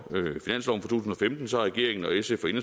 to